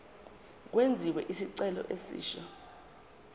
kwenziwe isicelo esisha